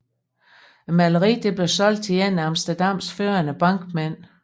Maleriet blev solgt til en af Amsterdams førende bankmænd dr